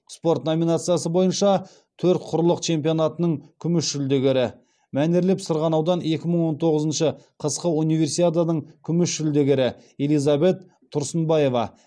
спорт номинациясы бойынша төрт құрлық чемпионатының күміс жүлдегері мәнерлеп сырғанаудан екі мың он тоғызыншы қысқы универсиаданың күміс жүлдегері элизабет тұрсынбаева